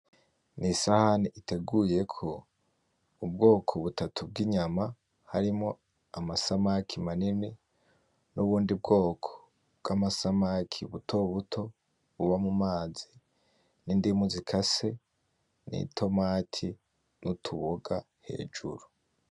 Isahani iteguyeko ubwoko butatu bw inyama harimwo amasamaki manini n' ubundi bwoko bw amasaki butobuto buba mumazi n' indimu zikase ni tomati n' utuboga hejuru.